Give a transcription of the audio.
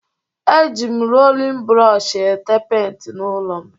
Eji m rolin brọọshị ete penti n'ụlọ m